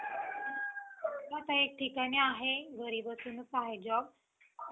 आता एक ठिकाणी आहे घरी बसूनच आहे job.